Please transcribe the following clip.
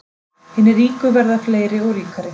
Hinir ríku verða fleiri og ríkari